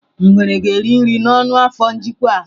Ngwere ga-eri nri n'ọnụ n'afọ njikwa a.